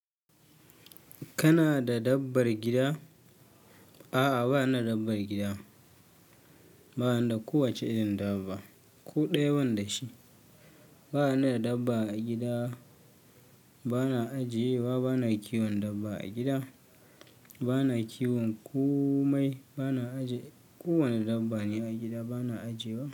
Kana da dabbar gida? A'a, ba ni da lambar gida. Ba ni da kowace irin dabba. Ko ɗayan banda shi. Ba ni da dabba a gida, ba na ajiye wa, ba na kiwon dabba a gida. Ba na kiwon komai, ba na ajiye ƙowane dabba ne a gida, ba na ajiye wa.